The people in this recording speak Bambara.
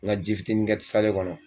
Ŋa ji fitini kɛ tisale kɔnɔ